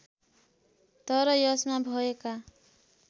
तर यसमा भएका